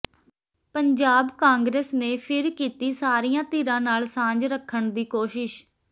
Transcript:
ਪੰਜਾਬ ਕਾਂਗਰਸ ਨੇ ਫਿਰ ਕੀਤੀ ਸਾਰੀਆਂ ਧਿਰਾਂ ਨਾਲ ਸਾਂਝ ਰੱਖਣ ਦੀ ਕੋਸ਼ਿਸ਼